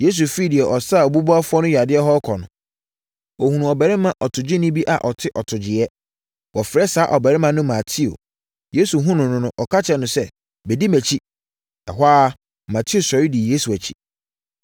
Yesu firi deɛ ɔsaa obubuafoɔ no yadeɛ hɔ rekɔ no, ɔhunuu ɔbarima ɔtogyeni bi a ɔte atogyeeɛ. Wɔfrɛ saa ɔbarima no Mateo. Yesu hunuu no no, ɔka kyerɛɛ no sɛ, “Bɛdi mʼakyi.” Ɛhɔ ara, Mateo sɔre dii Yesu akyi.